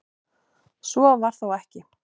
Svo var þó ekki.